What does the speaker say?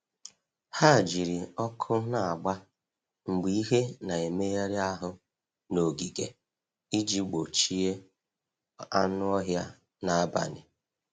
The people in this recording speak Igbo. Ha jiri ọkụ na-agba mgbe ihe na-emegharị ahụ n’ogige iji gbochie anụ ọhịa n’abalị.